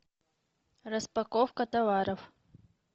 распаковка товаров